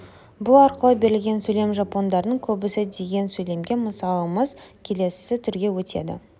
бұл арқылы берілген сөйлем жапондардың көбісі деген сөйлемге мысалымыз келесі түрге өтеді